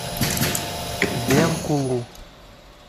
бенкулу